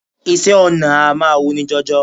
Iṣẹ́ ọnà a máa wuni jọjọ